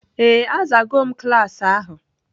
Ee, a zaa go m klas ahụ.